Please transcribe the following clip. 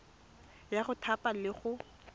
ya go thapa le go